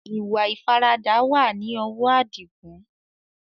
Ìwà ìfaradà wá ní ọwọ adigun